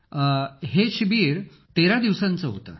अखिल sir हे शिबिर 13 दिवसांचं होतं